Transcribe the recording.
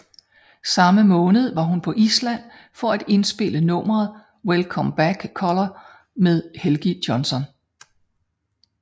Samme måned var hun på Island for at indspille nummeret Welcome Back Colour med Helgi Jonsson